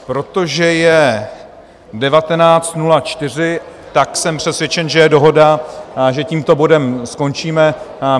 Protože je 19.04 hodin, jsem přesvědčen, že je dohoda, že tímto bodem skončíme.